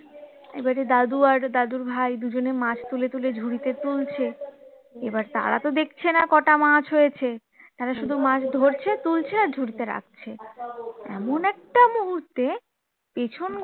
এবারে দাদু আর দাদুর ভাই দুজনে মাছ তুলে তুলে ঝুড়িতে তুলছে এবারে তারা তো দেখছে না কটা মাছ হয়েছে তারা শুধু মাছ ধরছে তুলছে আর ঝুড়িতে রাখছে এমন একটা মুহূর্তে পেছন ঘুরে